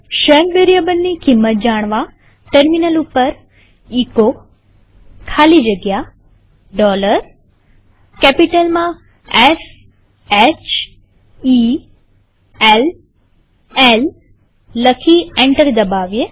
shell વેરીએબલની કિંમત જાણવાટર્મિનલ ઉપર એચો ખાલી જગ્યા કેપિટલમાંS H E L L લખી એન્ટર દબાવીએ